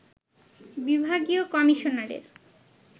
বিভাগীয় কমিশনারের